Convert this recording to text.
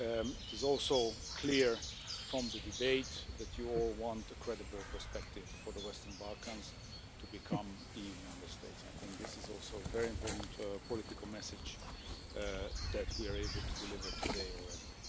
It is also clear from the debate that you all want a credible perspective for the Western Balkans to become EU Member States. This is also a very important political message that we are able to deliver today already.